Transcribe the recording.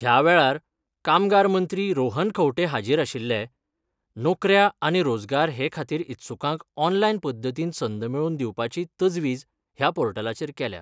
ह्या वेळार कामगार मंत्री रोहन खंवटे हाजीर आशिल्ले नोकऱ्या आनी रोजगार हे खातीर इत्सुकांक ऑनलायन पध्दतीन संद मेळोवन दिवपाची तजवीज ह्या पोर्टलाचेर केल्या.